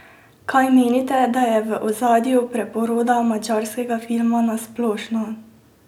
Kaj menite, da je v ozadju preporoda madžarskega filma na splošno?